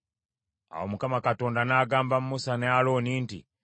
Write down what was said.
Awo Mukama Katonda n’agamba Musa ne Alooni nti,